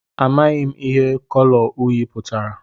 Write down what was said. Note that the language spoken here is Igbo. Amaghị m ihe kọlọ uyị pụtara